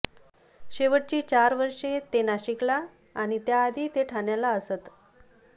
शेवटची चार वर्षे ते नाशिकला आणि त्याआधी ते ठाण्याला असत